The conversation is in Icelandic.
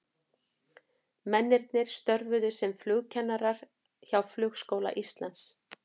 Mennirnir störfuðu sem flugkennarar hjá Flugskóla Íslands.